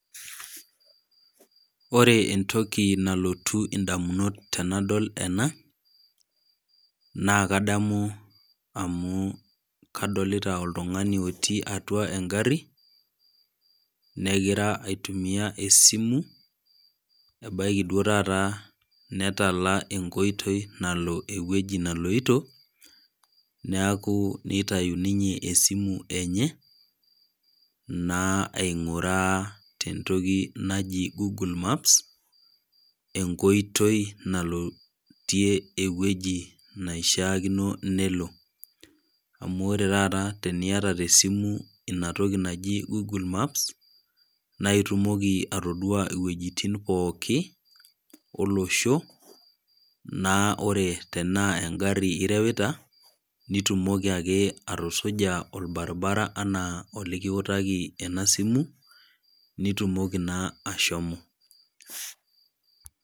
Ore entoki nalotu edamunot tenadol ena naa kadamu amu kadolita oltungani otii atua gari negira aitumia ee simu ebaiki oree taata netala ee nkoitoi nalo ewueji neloito neeku nitayu ninye simu enye naa aing'uraa tee ntoki naaji google maps enkoitoi nalotie ewueji naishakino nelo amu ore taata teniata tee simu enatoki naaji google maps naitumoki atodua ewuejitim pookin oloshosho naa ore tenaa gari erewuta naitumoki ake atusuja barabara enaa olikiwutaki ena simu naitumoki naa ashomo